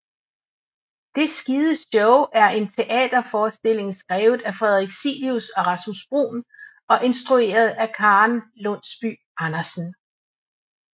Det Skide Show er en teaterforestilling skrevet af Frederik Cilius og Rasmus Bruun og instrueret af Karen Lundsby Andersen